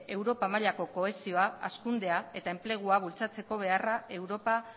europa mailako kohesioa hazkundea eta enplegua bultzatzeko beharra europa